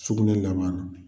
Sukunɛ laban na